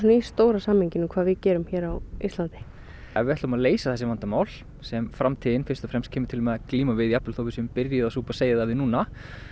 í stóra samhenginu hvað við gerum á Íslandi ef við ætlum að leysa þessi vandamál sem framtíðin fyrst og fremst kemur til með að glíma við þó við séum byrjuð að súpa seyðið af því núna